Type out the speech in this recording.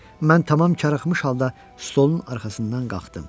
Mən tamam karıxmış halda stolun arxasından qalxdım.